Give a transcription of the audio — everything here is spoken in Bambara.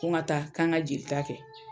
Ko ŋa taa k'an ŋa jelita kɛ